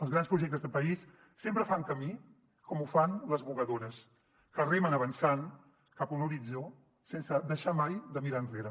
els grans projectes de país sempre fan camí com ho fan les vogadores que remen avançant cap a un horitzó sense deixar mai de mirar enrere